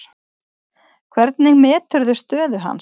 Hvernig meturðu stöðu hans?